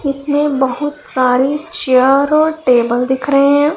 इसमें बहोत सारी चेयर और टेबल दिख रहे है।